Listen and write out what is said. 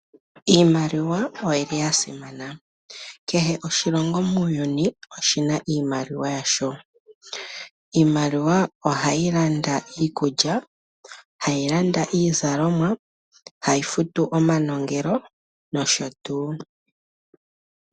Iimaliwa oyili yasimana . Kehe oshilongo muuyuni oshina iimaliwa yasho . Iimaliwa ohayi landa iikulya , iizalomwa , hayi futu omanongelo noshotuu.